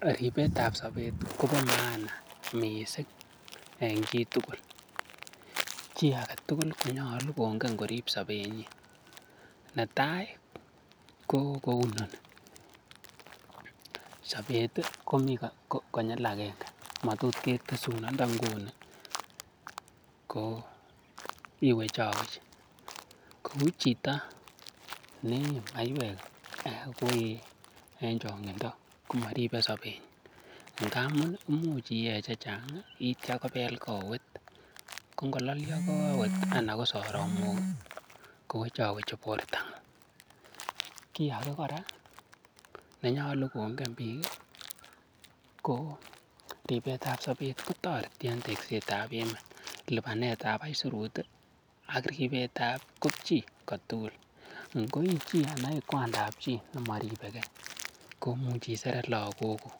Ribetab sobet kobo maana mising en chitugul. Chi age tugul konyolu kongen korib sobenyin. Netai: ko kou inoni; sobet komi konyil agenge motot ketesun, nda nguni iwechowech kou chito neyee maiywek en chong'indo komaribe sobenyin. Ngamun imuch iyee chechang kityo kobel kowet kongololyo kowet anan ko soromok kowechowechi borto. Kiy age kora nenyolu kongen biik ko ribetab sobet kotoreti en tekset ab emet, lipanetab aisurut ak ripetab kopchi kotugul. Ngo ii chi anan ii kwandap chi nemoripe gee koimuch iseret lagokkuk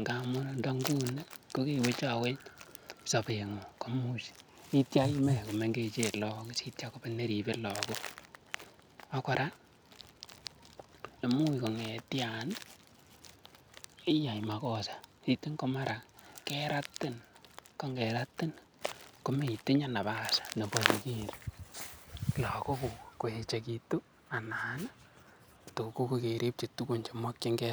ngamun ndo nguni kogewechowech sobeng'ung komuch kityo ime komengechen lagok asi kitya kobet neripe lagok. Ak kora imuch kong'etyan iyai makosa sitya mara keratin. Ko ngeratin komeitinye nafas nebo irip lagokuk koechegitu anan to koipchi tuguk chemokinge.